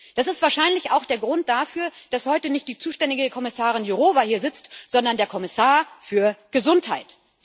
Das ist wahrscheinlich auch der Grund dafür, dass heute nicht die zuständige Kommissarin Jourová hier sitzt, sondern der Kommissar für Gesundheit.